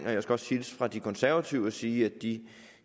og jeg skal også hilse fra de konservative og sige at de